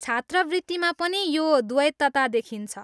छात्रवृत्तिमा पनि यो द्वैतता देखिन्छ।